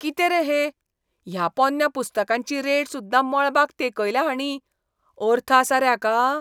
कितें रे हें? ह्या पोन्न्या पुस्तकांची रेट सुद्दां मळबाक तेंकयल्या हाणीं, अर्थ आसा रे हाका?